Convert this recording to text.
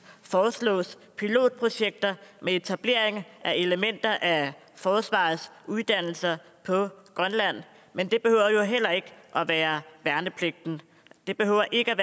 foreslås pilotprojekter med etablering af elementer af forsvarets uddannelser på grønland men det behøver jo heller ikke være værnepligten det behøver ikke